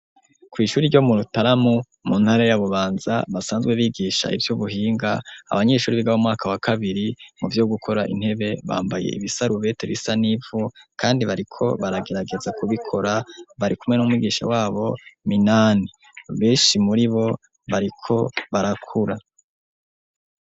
Kw'ishuri ryo mu Rukaramu mu ntara ya Bubanza basanzwe bigisha ivy'ubuhinga, abanyeshure biga mwaka wa kabiri mu vyo gukora intebe bambaye ibisarubeti bisa n'ivu kandi bariko baragerageza kubikora bari kumwe n'umwigisha wabo Minani. Benshi muri bo bariko barakura.